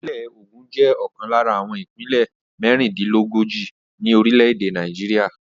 Ìpínlẹ̀ Ogun jẹ́ ọ̀kan lára àwọn ìpínlẹ̀ mẹ́rìndílógójì ní orílẹ̀-èdè Nàìjíríà.